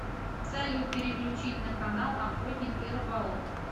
салют переключить на канал охотник и рыболов